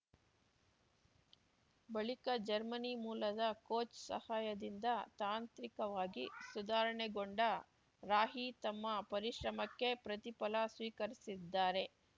ಬಳಿಕ ಜರ್ಮನಿ ಮೂಲದ ಕೋಚ್‌ ಸಹಾಯದಿಂದ ತಾಂತ್ರಿಕವಾಗಿ ಸುಧಾರಣೆಗೊಂಡ ರಾಹಿ ತಮ್ಮ ಪರಿಶ್ರಮಕ್ಕೆ ಪ್ರತಿಫಲ ಸ್ವೀಕರಿಸಿದ್ದಾರೆ